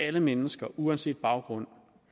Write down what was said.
alle mennesker uanset baggrund